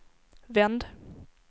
vänd